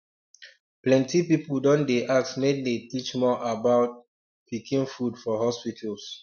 plenty people don dey ask make dem teach more about um pikin food for hospitals